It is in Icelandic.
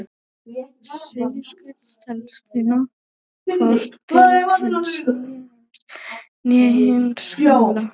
Suðurskautslandið telst því hvorki til hins nýja heims né hins gamla.